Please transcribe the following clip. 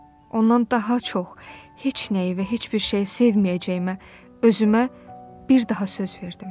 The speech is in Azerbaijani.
Ondan daha çox, heç nəyi və heç bir şeyi sevməyəcəyimə özümə bir daha söz verdim.